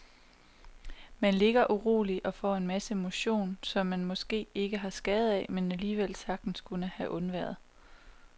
Man ligger uroligt og får en masse motion, som man måske ikke har skade af, men alligevel sagtens kunne have undværet.